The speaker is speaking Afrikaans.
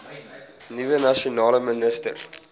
nuwe nasionale minister